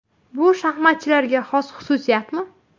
Bu shaxmatchilarga xos xususiyatmi?